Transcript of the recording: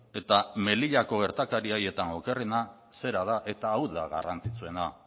eta melillako gertakarietan okerrena zera da eta hau da garrantzitsuena